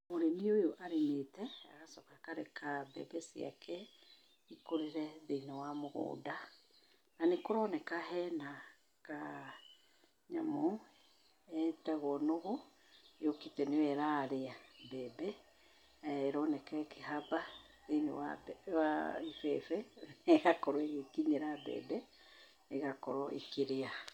Mũrĩmi ũyũ arĩmĩte aacoka akareka mbebe ciake ikũrĩre thĩiniĩ wa mũgũnda. Nanĩharoneka hena kanyamũ getagwo nũgũ, yũkĩte nĩyo ĩrarĩa mbembe na ĩroneka ĩkĩhamba thĩiniĩ wa ibebe na ĩgakorwo ĩgĩkinyĩra mbembe ĩgakorwo ĩkĩrĩa.